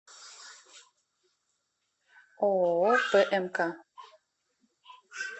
ооо пмк